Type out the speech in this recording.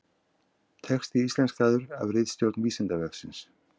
Texti íslenskaður af ritstjórn Vísindavefsins.